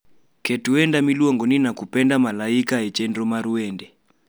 Keto wenda miluongoni nakupenda malaika e chenro mar wende